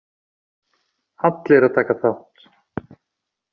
Allir að taka þátt!!!!!!